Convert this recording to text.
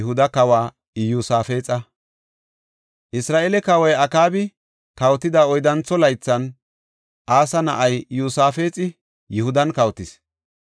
Isra7eele kawoy Akaabi kawotida oyddantho laythan Asa na7ay Iyosaafexi Yihudan kawotis.